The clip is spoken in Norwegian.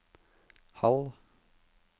halv